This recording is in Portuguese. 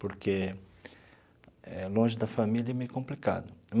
Porque longe da família é meio complicado.